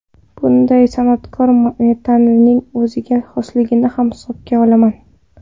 Bunda san’atkor mentalitetining o‘ziga xosligini ham hisobga olaman.